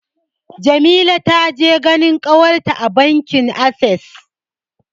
Jamila ta je ganin ƙawarta a bankin Ases.